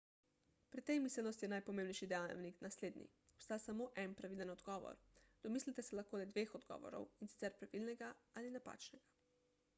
pri tej miselnosti je najpomembnejši dejavnik naslednji obstaja samo en pravilen odgovor domislite se lahko le dveh odgovorov in sicer pravilnega ali napačnega